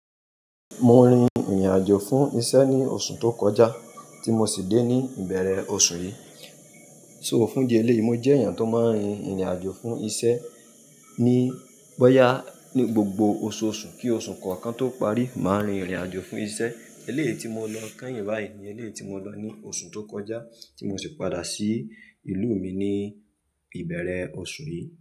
Mo rin ìrìnàjò fún iṣẹ́ ní oṣù tó kọjá tí mo sì dé ní ìbẹ̀rẹ̀ oṣù yìí. So fún idi eléyi, mo jẹ́ èèyàn tó máa ń rin ìrìnàjò fún iṣẹ́, ní boya ní gbogbo oṣooṣù kí oṣù kọ̀ọ̀kan tó parí, màá rin ìrìnàjò fún iṣẹ́. Eléyìí tí mo lọ kányìn báyìí ni eléyì tí mo lọ ní oṣù tó kọjá tí mo sì padà sí ìlú mi ní ìbẹ̀rẹ̀ oṣù yìí.